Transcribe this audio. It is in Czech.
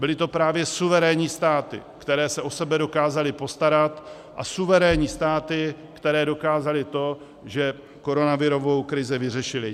Byly to právě suverénní státy, které se o sebe dokázaly postarat, a suverénní státy, které dokázaly to, že koronavirovou krizi vyřešily.